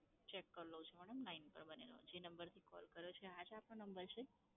check કરી લઉં છું madam line પર બની રહો. જે number થી call કર્યો છે આજ આપનો number છે?